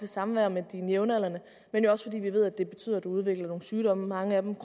samvær med sine jævnaldrende men jo også fordi vi ved at det betyder at man udvikler nogle sygdomme mange af dem